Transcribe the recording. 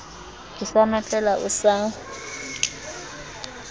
ke sa notlela o sa